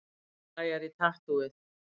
Klæjar í tattúið